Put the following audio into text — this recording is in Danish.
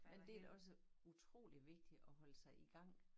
Men det da også utroligt vigtigt at holde sig i gang